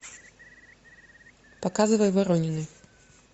показывай воронины